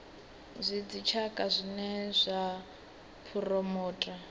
zwa dzitshaka zwine zwa phuromotha